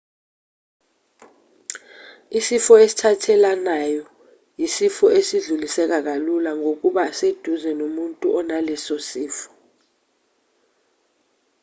isifo esithathelanwayo isifo esidluliseka kalula ngokuba seduze nomuntu onalesosifo